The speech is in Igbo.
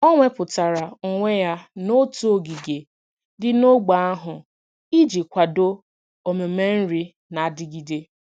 O wepụtara onwe ya n'otu ogige dị n'ógbè ahụ iji kwado omume nri na-adigide.